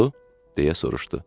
Oldu, deyə soruşdu.